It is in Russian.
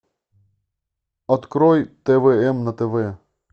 открой твм на тв